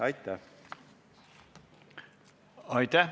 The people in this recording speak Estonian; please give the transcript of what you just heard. Aitäh!